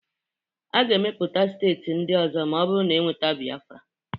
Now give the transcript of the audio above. A ga-emepụta steeti ndị ọzọ ma ọ bụrụ na e nweta Biafra